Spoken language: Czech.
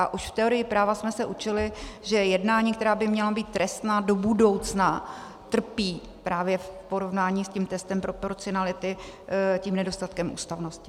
A už v teorii práva jsme se učili, že jednání, která by měla být trestná do budoucna, trpí právě v porovnání s tím testem proporcionality tím nedostatkem ústavnosti.